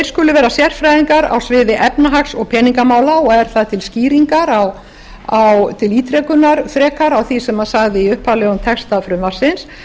skulu vera sérfræðingar á sviði efnahags og peningamála og er það til skýringar til ítrekunar frekar á því sem sagði í upphaflegum texta frumvarpsins